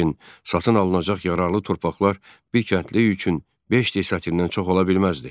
Lakin satın alınacaq yararlı torpaqlar bir kəndli üçün beş desyatindən çox ola bilməzdi.